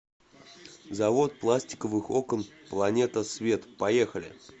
завод пластиковых окон планета свет поехали